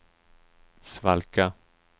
svalka